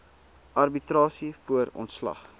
arbitrasie voor ontslag